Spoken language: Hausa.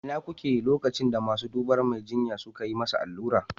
A ina kuke lokacin da masu dubar Mai jinya suka yi masa allura?